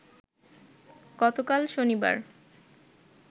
গতকাল শনিবার